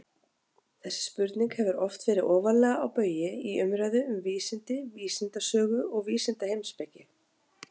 Þessi spurning hefur oft verið ofarlega á baugi í umræðu um vísindi, vísindasögu og vísindaheimspeki.